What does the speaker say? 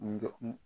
N dɔgɔ n